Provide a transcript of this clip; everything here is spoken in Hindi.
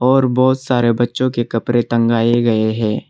और बहुत सारे बच्चों के कपड़े टंगाए गए हैं।